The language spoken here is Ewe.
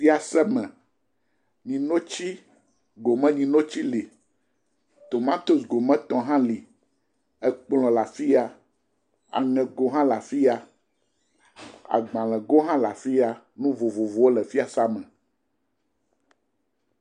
Fiaseme, nyinotsi. Gomenyinotsi le, tomatosi gometɔ hã le. Ekplɔ̃ le afi ya. Aŋɛgo hã le afi ya. Agbalẽgo hã le afi ya. Nu vovovowo le fiseame.